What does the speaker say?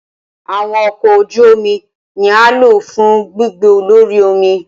Awọn ọkọ oju omi ni a lo fun gbigbe lori omi